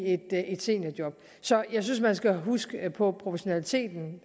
et seniorjob så jeg synes man skal huske proportionaliteten